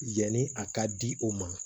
Yanni a ka di o ma